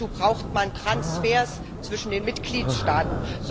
Dazu braucht man Transfers zwischen den Mitgliedstaaten.